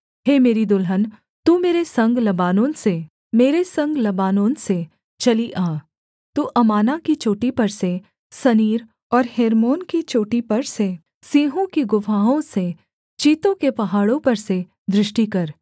हे मेरी दुल्हन तू मेरे संग लबानोन से मेरे संग लबानोन से चली आ तू अमाना की चोटी पर से सनीर और हेर्मोन की चोटी पर से सिंहों की गुफाओं से चीतों के पहाड़ों पर से दृष्टि कर